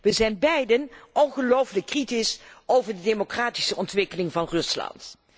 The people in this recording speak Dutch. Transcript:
Wij zijn beiden ongelooflijk kritisch over de democratische ontwikkeling van Rusland.